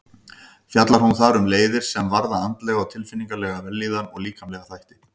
Fjallar hún þar um leiðir sem varða andlega og tilfinningalega vellíðan og líkamlega þætti.